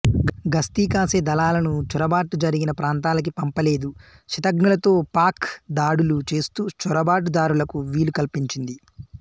గస్తీ కాసే దళాలను చొరబాట్లు జరిగిన ప్రాంతాలకి పంపలేదు శతఘ్నులతో పాక్ దాడులు చేస్తూ చొరబాటు దారులకు వీలు కల్పించింది